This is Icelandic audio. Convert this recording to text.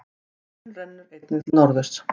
Hraun rennur einnig til norðurs.